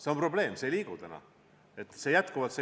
See on probleem, et need täna vabalt ei liigu.